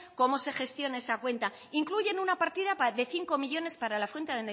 cómo se gestiona esa cuenta incluyen una partida de cinco millónes para la fuente